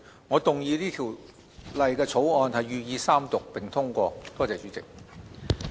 我動議此條例草案予以三讀並通過。